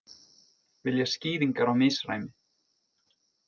Vilja skýringar á misræmi